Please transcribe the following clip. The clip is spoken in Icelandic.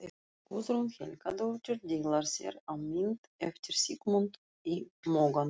Guðrún Helgadóttir dillar sér á mynd eftir Sigmund í Mogganum.